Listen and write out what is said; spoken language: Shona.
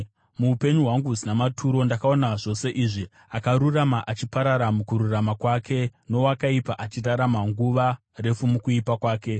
Muupenyu hwangu husina maturo ndakaona zvose izvi: akarurama achiparara mukururama kwake, nowakaipa achirarama nguva refu mukuipa kwake.